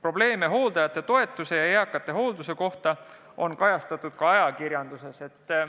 Hooldajate vähese toetamise ja üldse eakate hoolduse probleeme on kajastatud ka ajakirjanduses.